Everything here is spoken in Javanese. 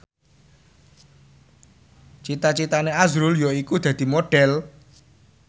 cita citane azrul yaiku dadi Modhel